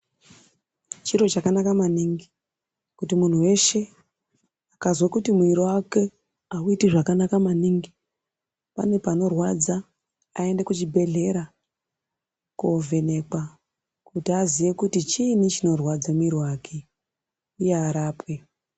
Chiro chakanaka maningi kuti muntu weshe akazwe kuti mwiri wake auiti zvakanaka maningi, pane panorwadza, aende kuchibhedhlera kovhenekwa kuti aziye kuti chiini chinorwadza mwiri wake uye arapwe.